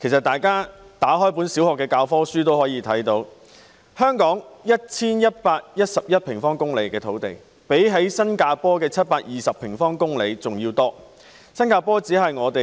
大家翻開小學教科書也知道，香港的土地面積有 1,111 平方公里，較新加坡的720平方公里還要多。